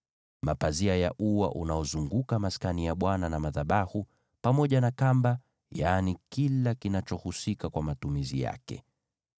mapazia ya ua, pazia katika ingilio la ua unaozunguka Maskani na madhabahu, pamoja na kamba, na kila kinachohusika kwa matumizi yake.